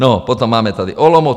No, potom máme tady Olomouc.